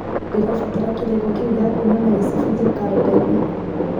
ndĩrabatara kĩrĩko kĩu gĩa kwonana gĩcabithio karenda-inĩ